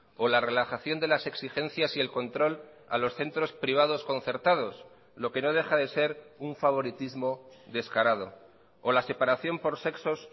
o la relajación de las exigencias y el control a los centros privados concertados lo que no deja de ser un favoritismo descarado o la separación por sexos